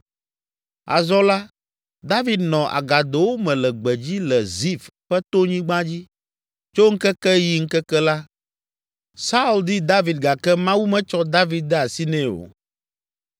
Azɔ la, David nɔ agadowo me le gbedzi le Zif ƒe tonyigba dzi. Tso ŋkeke yi ŋkeke la, Saul di David gake Mawu metsɔ David de asi nɛ o.